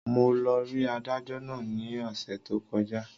Mo lọ rí adájọ́ náà ní ọ̀sẹ̀ tó kọjá